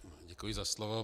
Děkuji za slovo.